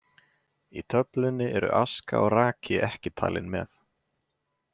Í töflunni eru aska og raki ekki talin með.